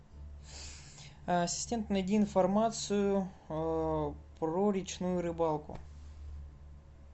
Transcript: ассистент найди информацию про речную рыбалку